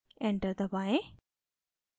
enter दबाएँ